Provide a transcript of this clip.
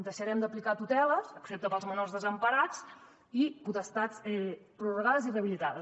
deixarem d’aplicar tuteles excepte per als menors desemparats i potestats prorrogades i rehabilitades